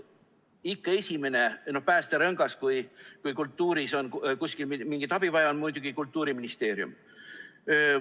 Ikka esimene päästerõngas, kui kultuuris on kuskil mingit abi vaja, on muidugi Kultuuriministeerium.